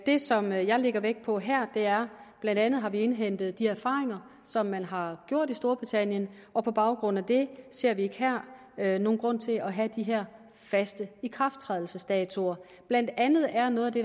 det som jeg lægger vægt på her er at blandt andet har indhentet de erfaringer som man har gjort sig i storbritannien og på baggrund af det ser vi ikke her nogen grund til at have de her faste ikrafttrædelsesdatoer blandt andet er noget af det